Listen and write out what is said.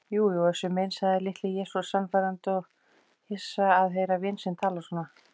Jú jú Össur minn, sagði Litli-Jesús sannfærandi og hissa að heyra vin sinn tala svona.